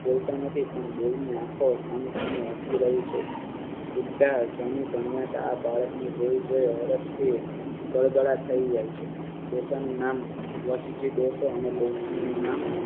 બોલતા નથી પણ બેઉ ની આંખો સામેસામે હસી રહી છે. બુઢ્ઢા ધણી ધણીયાટ આ બાળકને જોઈ ને હરખથી ગળગળા થઈ જાય છે. ડોસાનું નામ હઠીસિંહ ડોસો અને ડોસીનું નામ